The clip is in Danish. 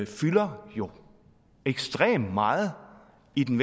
fylder jo ekstremt meget i den